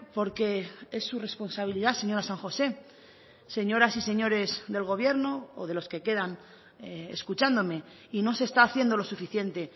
porque es su responsabilidad señora san josé señoras y señores del gobierno o de los que quedan escuchándome y no se está haciendo lo suficiente